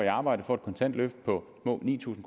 arbejde får et kontant løft på små ni tusind